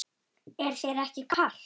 Er þér ekki kalt?